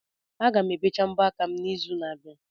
Aga m ebecha mbọ aka m n'izu n'abịa.